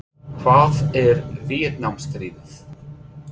Hvað er Víetnamstríðið?